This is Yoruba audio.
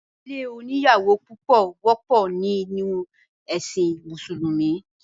ìdílé oníyàwó púpọ̀ wọ́pọ̀ ní inú ẹ̀sìn mùsùlúmí